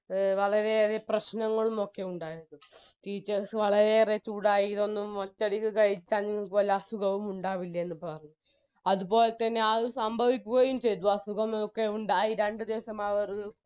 A വളരെയേറെ പ്രശ്നങ്ങളും ഒക്കെ ഉണ്ടായിരുന്നു teachers വളരെയേറെ ചൂടായ ഇതൊന്നും ഒറ്റയടിക്ക് കഴിച്ചാൽ നിങ്ങൾക്ക് വല്ല അസുഖവും ഉണ്ടാവില്ലെ എന്ന് പറഞ്ഞു അതുപോലെതന്നെ ആത് സംഭവിക്കുകയും ചെയ്തു അസുഖമൊക്കെയുണ്ടായി രണ്ട് ദിവസം അവർ